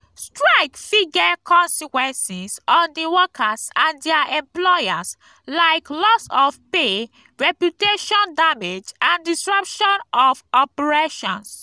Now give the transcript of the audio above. srike fit get consequences on di workers and di employers like loss of pay reputation damage and disruption of operations.